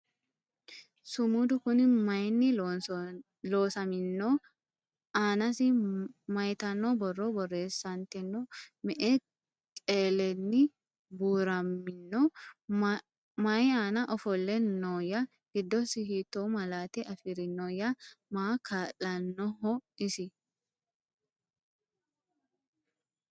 Sumudu Kuni mayiinni loosaminno ? Aanasi mayiittanno borro borreessanttino ? Me'e kelelenni buuramminno ? Mayi aanna ofolle nooya ? Giddosi hiitto malaatte afirinnoya ? Maaho kaa'lanooho isi ?